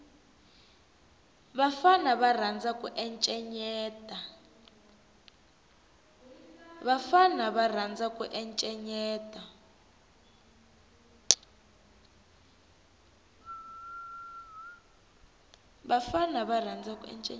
vafana va rhandza ku encenyeta